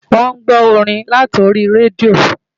Wọ́n ń gbọ́ orin láti orí rédíò